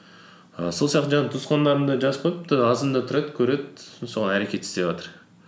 і сол сияқты жаңағы туысқандарым да жазып қойыпты азанда тұрады көреді соған әрекет істеватыр